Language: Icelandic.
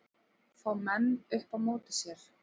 Fá menn upp á móti sér